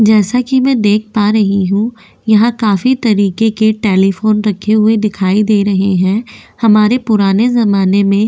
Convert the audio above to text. जैसा कि मैं देख पा रही हूं यहां काफी तरीके के टेलीफोन रखे हुए दिखाई दे रहे हैं हमारे पुराने जमाने में --